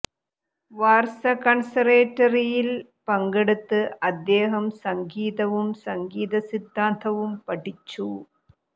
വാർസ കൺസർേറ്റേറ്ററിയിൽ പങ്കെടുത്ത് അദ്ദേഹം സംഗീതവും സംഗീത സിദ്ധാന്തവും പഠിച്ചു